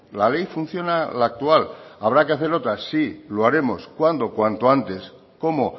la ley funciona la actual habrá que hacer otra sí lo haremos cuándo cuanto antes cómo